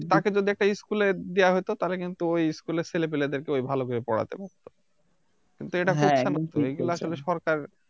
তাকে যদি একটা School এ দেওয়া হতো তাহলে কিন্তু ওই School এর ছেলেপেলেদেরকে ওই ভালোভেবে পড়াতে পারতো কিন্তু এটা করছেনা তো এইগুলা আসলে সরকার